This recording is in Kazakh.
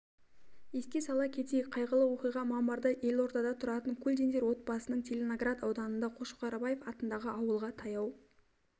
еске сала кетейік қайғылы оқиға мамырда елордада тұратын кульдиндер отбасының целиноград ауданы қошқарбаев атындағы ауылға таяу